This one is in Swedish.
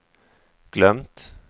glömt